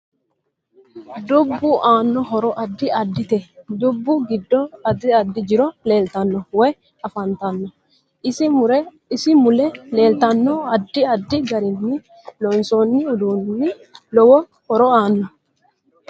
Dubbu aano hiro addi addite dubbu giddo addi addi jiro leeltanno woy afantanno isi mule leeltanno addi addi garinni loonsooni uduuni lowo horo aanno